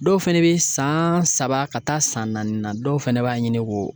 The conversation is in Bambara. Dɔw fɛnɛ bɛ san saba ka taa san naani na dɔw fɛnɛ b'a ɲini k'o